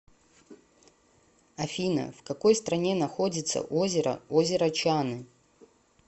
афина в какой стране находится озеро озеро чаны